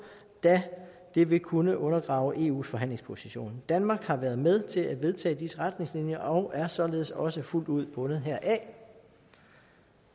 da det vil kunne undergrave eus forhandlingsposition danmark har været med til at vedtage disse retningslinjer og er således også fuldt ud bundet heraf